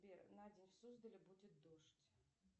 на день в суздале будет дождь